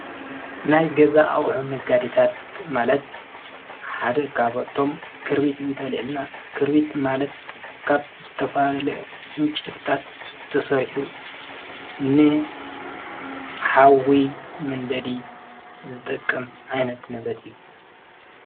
ናይ ገዛ ኣውኁ ነጋዲታት ማለት ሓደ ኻበኣቕቶም ክርቢት እንተልየልና ክርቢት ማለት ኻብ ዝተፋለ እንጭድታት ተሠርሒቡ ን ኃውዊይ ምንደዲ ዝጠቅም ኣይነት ነበት እየ።